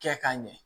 Kɛ ka ɲɛ